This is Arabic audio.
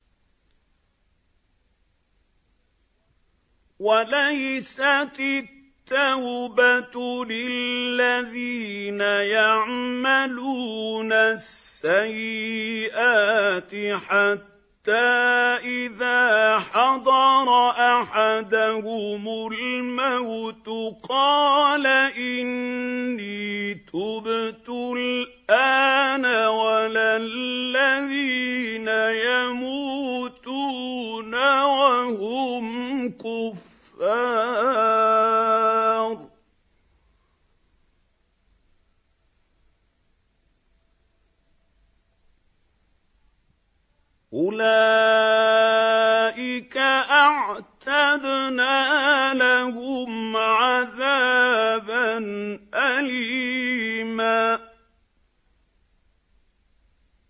وَلَيْسَتِ التَّوْبَةُ لِلَّذِينَ يَعْمَلُونَ السَّيِّئَاتِ حَتَّىٰ إِذَا حَضَرَ أَحَدَهُمُ الْمَوْتُ قَالَ إِنِّي تُبْتُ الْآنَ وَلَا الَّذِينَ يَمُوتُونَ وَهُمْ كُفَّارٌ ۚ أُولَٰئِكَ أَعْتَدْنَا لَهُمْ عَذَابًا أَلِيمًا